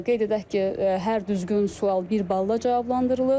Qeyd edək ki, hər düzgün sual bir balla cavablandırılır.